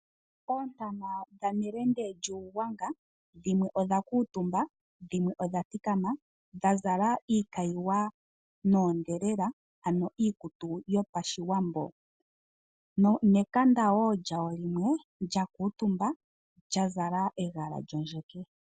Oontana dhanelende lyUugwanga dhimwe odha kuutumba dhimwe odha thikama dha zala iikayiwa noondhelela, ano iikutu yopashiwambo nekanda wo lyawo limwe lya kuutumba lya zala egala lyondjeke.